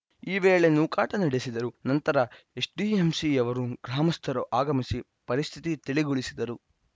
ಈ ವೇಳೆ ನೂಕಾಟ ನಡೆಸಿದರು ನಂತರ ಎಸ್‌ಡಿಎಂಸಿಯವರು ಗ್ರಾಮಸ್ಥರು ಆಗಮಿಸಿ ಪರಿಸ್ಥಿತಿ ತಿಳಿಗೊಳಿಸಿದರು